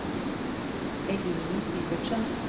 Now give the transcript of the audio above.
Eline Syvertsen